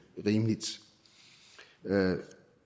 rimeligt